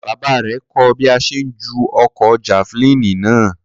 Bàbá rẹ̀ kọ́ ọ bí a ṣe ń ju ọ̀kọ̀ jafilini náà